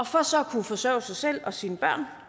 for så at kunne forsørge sig selv og sine børn